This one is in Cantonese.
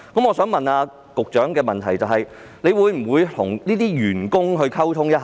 我想問，局長會否與這些員工溝通一下呢？